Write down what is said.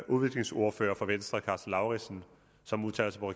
udviklingsordføreren for venstre herre karsten lauritzen som udtaler sig på